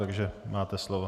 Takže máte slovo.